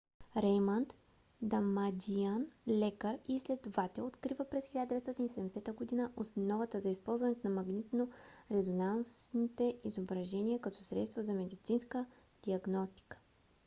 реймънд дамадиан лекар и изследовател открива през 1970 година основата за използването на магнитно-резонансните изображения като средство за медицинска диагностика